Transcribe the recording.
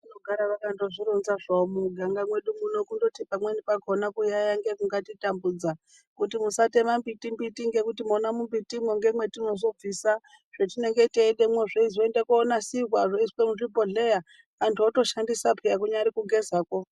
Kugaro akangozvironza muno mumuganga medu asi pamweni pacho kuyayiya ndiko kunenge kungatitambudza kuti musatema mumbiti ngenguto mona mumbiti ndimo matinobvisa zvatinenge teida kushandisa kunyangwe kugeza.